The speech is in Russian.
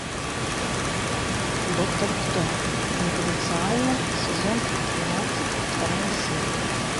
доктор кто конфиденциально сезон тринадцать вторая серия